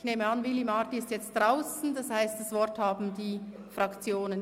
Ich nehme an, Willy Marti ist jetzt draussen, das heisst das Wort haben die Fraktionen.